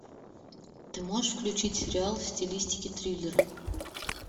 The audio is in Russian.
ты можешь включить сериал в стилистике триллера